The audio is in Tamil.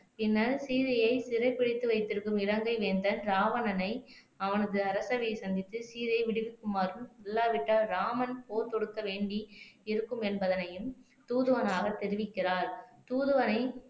பின்னர் சீதையை சிறைபிடித்து வைத்திருக்கும் இலங்கை வேந்தன் ராவணனை அவனது அரசவையை சந்தித்து சீதையை விடுவிக்குமாறும் இல்லாவிட்டால் ராமன் போர் தொடுக்க வேண்டி இருக்கும் என்பதனையும் தூதுவனாக தெரிவிக்கிறார் தூதுவனை